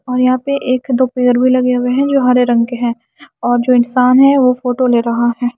और यहां पे एक दो पेर भी लगे हुए हैं जो हरे रंग के हैं और जो इंसान है वह फोटो ले रहा है।